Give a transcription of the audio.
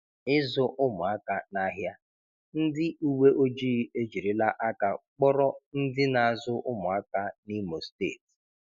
Ịzụ ụmụaka n'ahịa: Ndị uwe ojii ejirila aka kpọrọ ndị na-azụ ụmụaka n’Imo Steeti.